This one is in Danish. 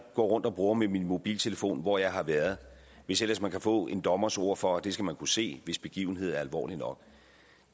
går rundt og bruger med min mobiltelefon hvor jeg har været hvis ellers man kan få en dommers ord for at det skal man kunne se hvis begivenheden er alvorlig nok